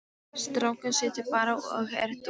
Strákurinn situr bara og er dofinn.